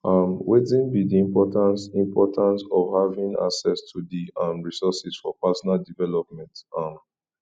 um wetin be di importance importance of having access to di um resources for personal development um